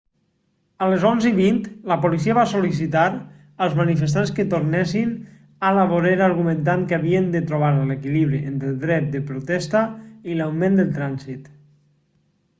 a les 11:20 la policia va sol·licitar als manifestants que tornessin a la vorera argumentant que havien de trobar l'equilibri entre el dret de protesta i l'augment del trànsit